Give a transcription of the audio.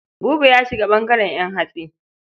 Buba ya shiga ɓangaren ƴan hatsi.